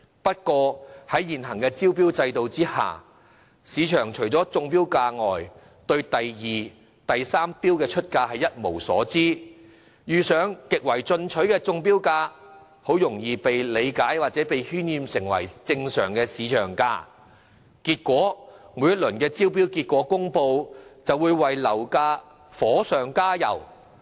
不過，在現行招標制度下，市場除了中標價外，對第二和第三出標價一無所知，遇上極為進取的中標價，便很容易被理解或被渲染為正常市場價，結果每一輪招標結果公布，都會為樓價火上加油。